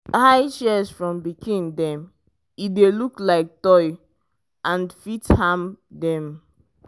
hide shears from pikin dem e dey look like toy and fit harm dem.